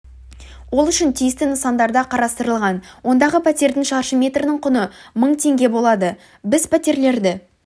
ол үшін тиісті нысандарда қарастырылған ондағы пәтердің шаршы метрінің құны мың теңге болады біз пәтерлерді